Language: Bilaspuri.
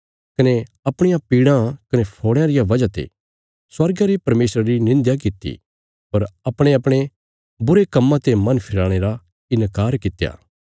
कने अपणियां पीड़ां कने फोड़यां रिया वजह ते स्वर्गा रे परमेशरा री निंध्या कित्ती पर अपणेअपणे बुरे कम्मां ते मन फिराणे रा इन्कार कित्या